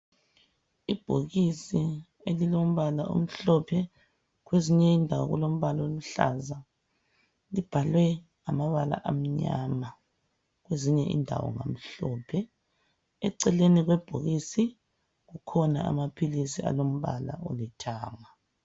Ibhokisi elilombala omhlophe kwezinye indawo lilombala oluhlaza. Libhalwe ngamabala amnyama kwezinye indawo ngamhlophe. Eceleni kwebhokisi kukhona amaphilisi alombala olithanga.